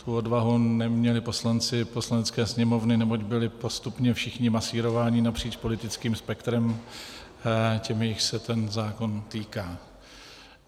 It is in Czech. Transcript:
Tu odvahu neměli poslanci Poslanecké sněmovny, neboť byli postupně všichni masírováni napříč politických spektrem těmi, jichž se ten zákon týká.